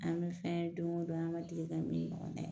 An bɛ fɛn don go don an ma deli ka min ɲɔgɔn kɛ